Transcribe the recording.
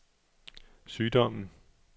sygdommen